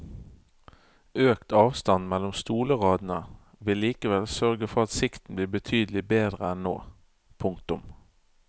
Økt avstand mellom stolradene vil likevel sørge for at sikten blir betydelig bedre enn nå. punktum